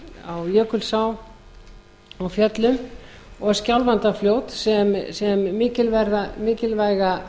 á jökulsá á fjöllum og skjálfandafljót sem mikilvæga